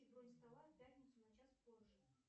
бронь стола в пятницу на час позже